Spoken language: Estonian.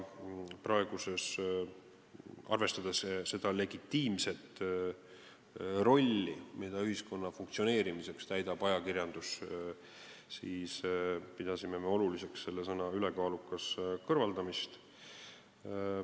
Arvestades seda legitiimset rolli, mida ajakirjandus ühiskonna funktsioneerimisel täidab, pidasime oluliseks see sõna "ülekaalukas" kõrvaldada.